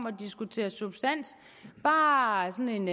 at diskutere substans bare sådan